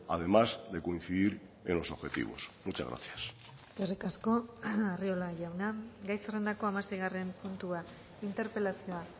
además de coincidir en los objetivos muchas gracias eskerrik asko arriola jauna gai zerrendako hamaseigarren puntua interpelazioa